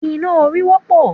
Iná orí wọ́pọ̀